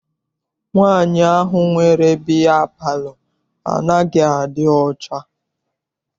Nwaanyi ahụ nwere bịya palọ anaghị adị ọcha.